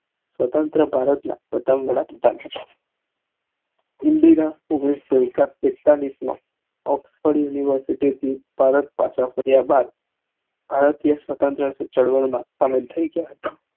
સ્વતંત્ર ભારતના પ્રધાન હતા ઇન્દિરા ઓઘ્નીશ સૌ પીત્ચાલીસ માં ઓક્ષ્ફોડ university થી કર્યા બાદ ભારતીય સ્વત્રંત્ર ચળવળ શામિલ થયી ગયા હતા